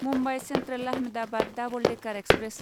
Mumbai central Ahmedabad double decker express